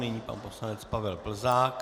Nyní pan poslanec Pavel Plzák.